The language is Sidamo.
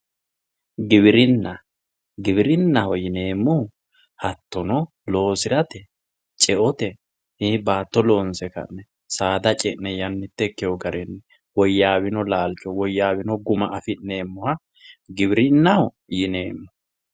giwirinna giwirinnaho yineemmohu hattono loosirate ceote baatto loonse ka'ne saada ce'ne yannamitte ikkewo garinni woyyaawino garinni woyaawino laalcho giwirinnaho yineemmo